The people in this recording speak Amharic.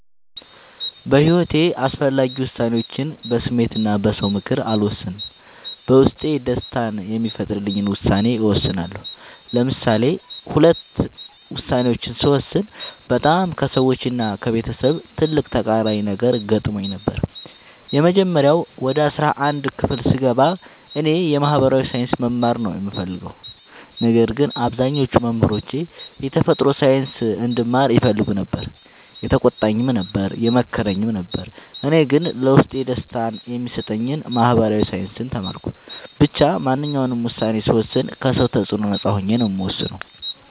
በሒወቴ አስፈላጊ ወሳኔዎችን በስሜት እና በ ሰው ምክር አልወሰንም። በውስጤ ደስታን የሚፈጥርልኝን ውሳኔ እወስናለሁ። ለምሳሌ ሁለት ውሳኔዎችን ስወስን በጣም ከሰዎች እና ከቤተሰብ ትልቅ ተቃራኒ ነገር ገጥሞኝ ነበር። የመጀመሪያው ወደ አስራአንድ ክፍል ስገባ እኔ የ ማህበራዊ ሳይንስ መማር ነው የምፈልገው። ነገር ግን አብዛኞቹ መምህሮቼ የተፈጥሮ ሳይንስ እንድማር ይፈልጉ ነበር የተቆጣኝም ነበር የመከረኝም ነበር እኔ ግን ለውስጤ ደስታን የሚሰጠኝን ማህበራዊ ሳይንስ ተማርኩ። ብቻ ማንኛውንም ውሳኔ ስወስን ከ ሰው ተፅዕኖ ነፃ ሆኜ ነው የምወስነው።